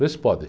Vê se pode.